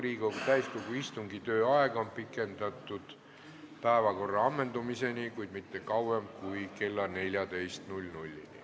Riigikogu täiskogu istungi tööaega on pikendatud päevakorra ammendumiseni, kuid mitte kauem kui kella 14-ni.